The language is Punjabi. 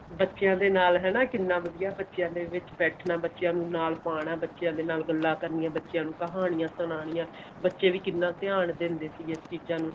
ਬੱਚਿਆ ਦੇ ਨਾਲ ਹਨਾ ਕਿੰਨਾ ਵਧੀਆਂ ਬੱਚਿਆ ਦੇ ਵਿੱਚ ਬੈਠਨਾ ਬੱਚਿਆ ਨੂੰ ਨਾਲ ਪਾਉਣਾ ਬੱਚਿਆ ਦੇ ਨਾਲ ਗੱਲਾ ਕਰਨੀਆਂ ਬੱਚਿਆਂ ਨੂੰ ਕਹਾਣੀਆਂ ਸੁਨਾਣਿਆ ਬੱਚੇ ਵੀ ਕਿੰਨਾ ਧਿਆਨ ਦਿੰਦੇ ਨੇ ਇਹਨਾਂ ਚੀਜਾਂ ਨੂੰ